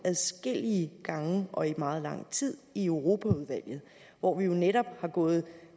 adskillige gange og i meget lang tid i europaudvalget hvor vi jo netop har gået